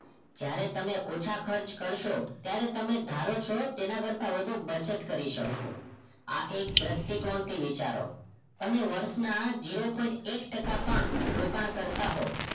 જયારે તમે ઓછા ખર્ચ કરશો ત્યારે તમે ધારો છો તેના કરતાં વધુ બચત કરી શકશો આ એક દ્રષ્ટિ કોણ થી વિચારો તમે વર્ષના zero point એક ટકા પણ રોકાણ કરતા હો